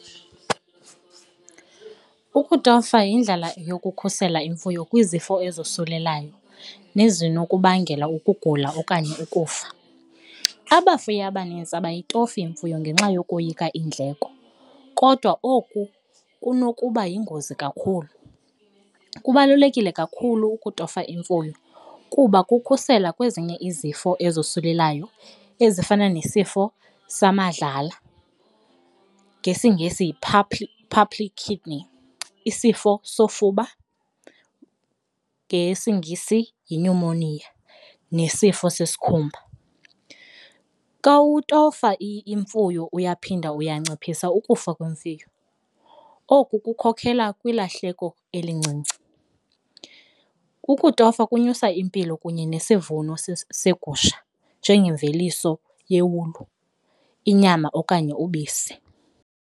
Ukutofa yindlela yokukhusela imfuyo kwizifo ezosulelayo nezinokubangela ukugula okanye ukufa. Abafuyi abanintsi abayitofi imfuyo ngenxa yokoyika iindleko kodwa oku kunokuba yingozi kakhulu, kubalulekile kakhulu ukutofa imfuyo kuba kukhusela kwezinye izifo ezosulelayo ezifana nesifo samadlala ngesiNgesi yi-pulpy kidney, isifo sofuba ngesiNgesi yinyumoniya, nesifo zesikhumba. Xa utofa imfuyo uyaphinda uyanciphisa ukufa kwemfuyo, oku kukhokhelela kwilahleko elincinci. Ukutofa ukunyusa impilo kunye nesivuno segusha njengemveliso yewulu, inyama okanye ubisi.